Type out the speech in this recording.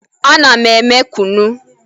Ana m eme kụnụ